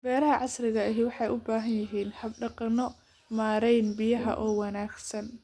Beeraha casriga ahi waxay u baahan yihiin hab-dhaqanno maarayn biyaha oo wanaagsan.